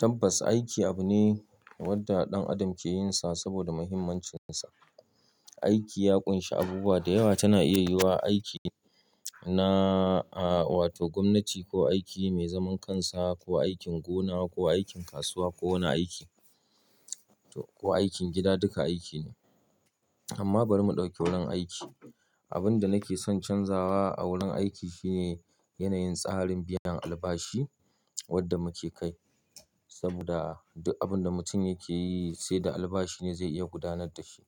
Tabbas, aiki abu ne wanda ɗan adam ke yin sa saboda muhimmancinsa. Aiki ya ƙunshi abubuwa da yawa, tana iya yiwuwa aiki na, a, wato gwamnati ko aiki mai zaman kansa ko aikin gona ko aikin kasuwa ko wani aiki. To, ko aikin gida duka aiki ne. Amma bari mu ɗauki wurin aiki. Abin da nake son canzawa a wurin aiki shine yanayin tsarin biyan albashi wadda muke kai saboda duk abin da mutum yake yi sai da albashi ne zai iya gudanar da shi.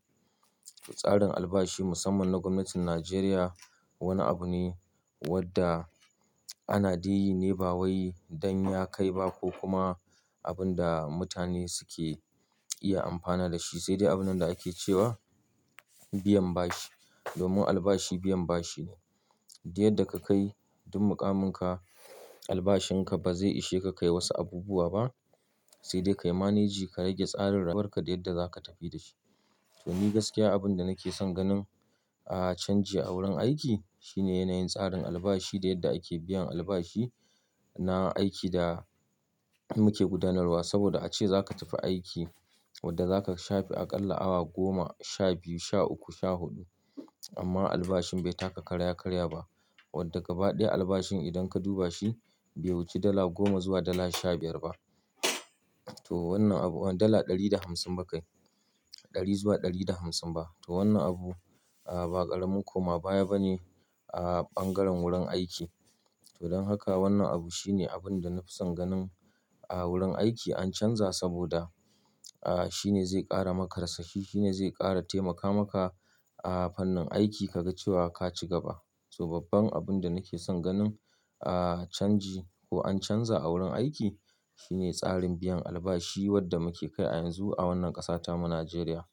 Tsarin albashi musamman na gwamnatin Najeriya wani abu ne wadda ana ɗeyi ne ba wai don ya kai ba ko kuma abin da mutane suke iya amfana da shi sai dai abin da ake cewa biyan bashi. Domin albashi biyan bashi ne. Diyar da ka kai duk muƙaminka, albashin ka ba zai ishe ka kai wasu abubuwa ba sai dai kayi manage ka rage tsarin rayuwar ka da yar da za ka tafi da shi. To, ni gaskiya abin da nake son ganin a canji a wurin aiki shine yanayin tsarin albashi da yadda ake biyan albashi na aiki da muke gudanarwa saboda ace za ka tafi aiki wadda za ka shafe aƙalla awa goma, sha biyu, sha uku, sha huɗu amma albashin bai taka karya karya ba wadda ga badaya albashin idan ka duba shi bai wuce dala goma zuwa dala sha biyar ba. To, wannan abu, dala ɗari da hamsin ba kai, ɗari zuwa ɗari da hamsin ba. To, wannan abu, a, ba ƙaramin koma baya ba ne a ɓangaren wurin aiki. To, don haka wannan abu shine abin da na fi son ganin a wurin aiki an canza saboda, a, shine zai ƙara maka rasashi, shine zai ƙara taimaka maka a fannin aiki ka ga cewa ka ci gaba. To, babban abin da nake son ganin a canji ko an canza a wurin aiki shine tsarin biyan albashi wadda muke kai a yanzu a wannan ƙasata mu Najeriya.